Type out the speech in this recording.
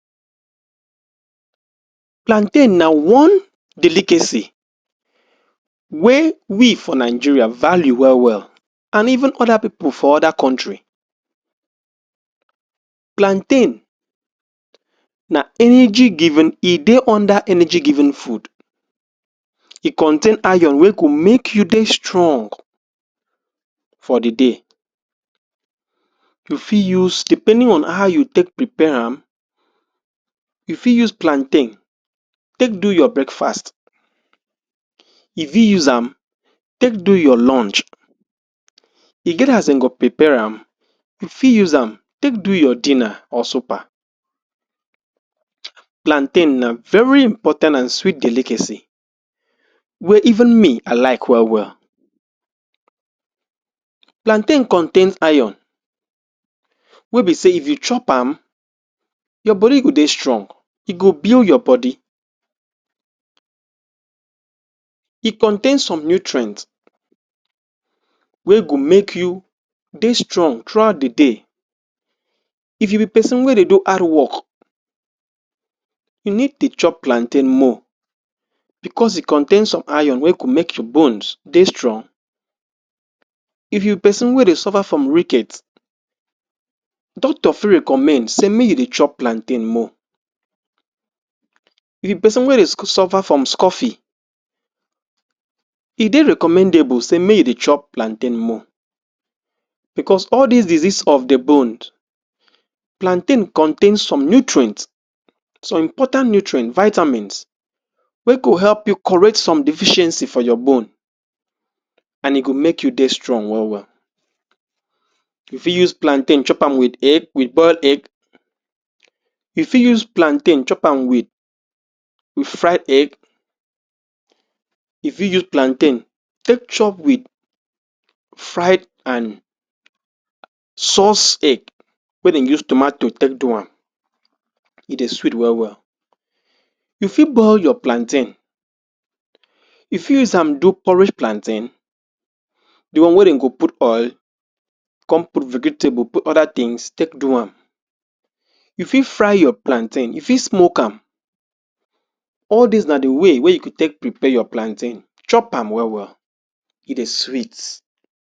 Plantain na one delicacy wey we for Nigeria value well-well and even other people for other country plantain, na energy giving, e dey under energy giving food e contain iron wey go make you dey strong for the day you fi use, depending on how you take prepare am you fi use plantain take do your breakfast you fi use am take do your lunch e get as in go prepare am you fi use am take do your dinner or supper plantain na very important and sweet delicacy wey even me i like well-well plantain contains iron wey be say if you chop am your body go dey strong, e go build your body e contain some nutrients wey go make you dey strong throughout the day if you be person wey dey do hard work you need dey chop plantain more because e contain some iron wey go make your bones dey strong if you be person wey dey suffer from ricket doctor fi recommed say make you dey chop plantain more if you be person wey dey suffer from scuffy e dey recommendable say may you dey chop plantain more because all these diseases of the bone plantain contains some nutruents some important nutrient, vitamins wey go help you correct some deficiency for your bone and e go make you dey strong well-well you fi use plantain chop am with egg, with boiled egg you fi use plantain chop am with with fried egg you fi use plantain take chop with fried and sauced egg, wey den use tomatoes take do am e dey sweet well-well you fi boil your plantain you fi use am do porridge plantain the one wey den go put oil come put vegetable, put other things take do am you fi fry your plaintain, you fi smoke am all these na the way, wey you go take prepare you plantain chop am well-well, e dey sweet.